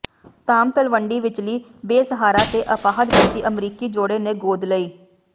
ਧਾਮ ਤਲਵੰਡੀ ਵਿਚਲੀ ਬੇਸਹਾਰਾ ਤੇ ਅਪਾਹਜ ਬੱਚੀ ਅਮਰੀਕੀ ਜੋੜੇ ਨੇ ਗੋਦ ਲਈ